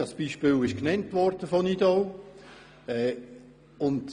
Das Beispiel Nidau wurde genannt.